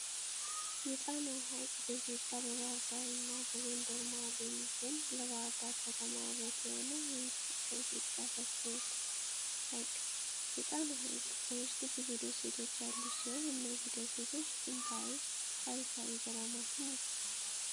የጣና ሀይቅ በኢትዮጵያ በባህርዳር እና በጎንደር መሀል የሚገኝለባህር ዳር ከተማ ውበት የሆነ ከኢትዮጵያ ሰፊው ሀይቅ ነው። የጣና ሀይቅ በውስጡ ብዙ ደሴቶች ያሉት ሲሆን እነዚህ ደሴት ጥንታዊ ታሪካዊ ገዳማትን ይዘዋል።